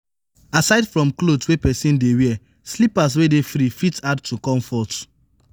aside from cloth wey person dey wear slippers wey dey free fit add to comfort